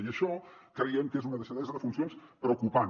i això creiem que és una deixadesa de funcions preocupant